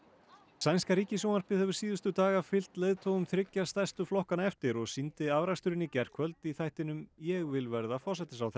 sænska ríkissjónvarpið hefur síðustu daga fylgt leiðtogum þriggja stærstu flokkanna eftir og sýndi afraksturinn í gærkvöld í þættinum ég vil verða forsætisráðherra